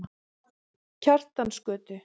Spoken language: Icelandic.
Kjartansgötu